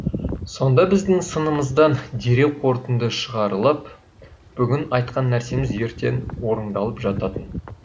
сонда біздің сынымыздан дереу қорытынды шығарылып бүгін айтқан нәрсеміз ертең орындалып жататын